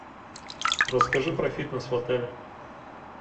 расскажи про фитнес в отеле